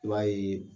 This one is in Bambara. I b'a ye